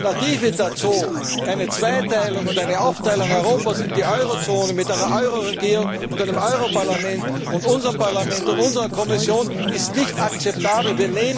Die Alternative dazu, eine Zweiteilung oder eine Aufteilung Europas in die Euro Zone, mit einer Euro Regierung und einem Euro Parlament und unserem Parlament und unserer Kommission, ist nicht akzeptabel.